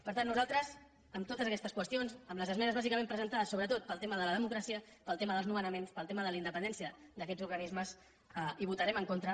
per tant nosaltres amb totes aquestes qüestions amb les esmenes bàsicament presentades sobretot pel tema de la democràcia pel tema dels nomenaments pel tema de la independència d’aquests organismes hi votarem en contra